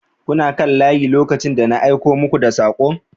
kuna kan layi lokacin da na aiko muku da sakon